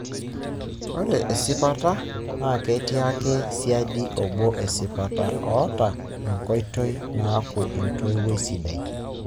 ore esipata na ketii ake saidi obo"esipata" oata enkoitoi naaku entoiwoi sidai.